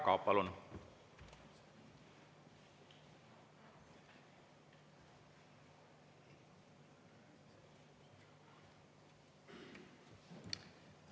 Jaak Aab, palun!